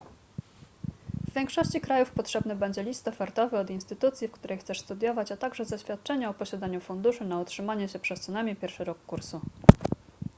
w większości krajów potrzebny będzie list ofertowy od instytucji w której chcesz studiować a także zaświadczenie o posiadaniu funduszy na utrzymanie się przez co najmniej pierwszy rok kursu